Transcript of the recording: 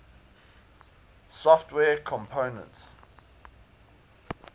software components